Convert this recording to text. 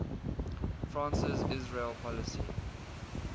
france's israel policy